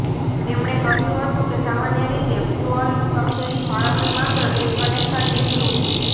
તેમણે કહ્યું હતું કે સામાન્ય રીતે ફ્યુઅલ સબસિડી ફાળવણી માત્ર એક કનેક્શન દીઠ રૂ